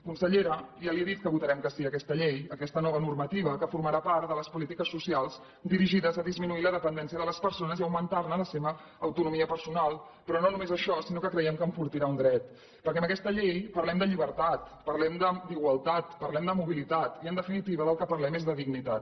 consellera ja li he dit que votarem que sí a aquesta llei aquesta nova normativa que formarà part de les polítiques socials dirigides a disminuir la dependència de les persones i a augmentar ne la seva autonomia personal però no només això sinó que creiem que enfortirà un dret perquè amb aquesta llei parlem de llibertat parlem d’igualtat parlem de mobilitat i en definitiva del que parlem és de dignitat